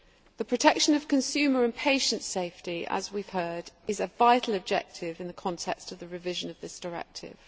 The protection of consumer and patient safety, as we have heard, is a vital objective in the context of the revision of this directive.